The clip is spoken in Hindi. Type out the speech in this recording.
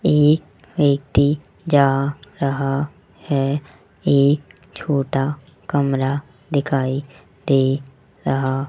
एक व्यक्ति जा रहा है एक छोटा कमरा दिखाई दे रहा।